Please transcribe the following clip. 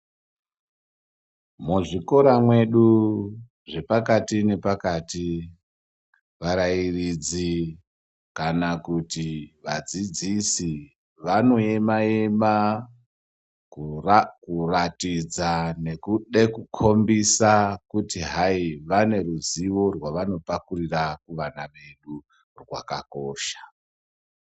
Muzvikora mwedu zvepakati nepakati varairidzi kana kuti vadzidzisi vanoema ema kuratidza nekude kukhombisa kuti hayi vane ruzivo rwavanopakurira kuvana vedu rwakakosha.